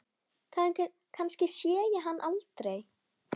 Kannski sé ég hann aldrei.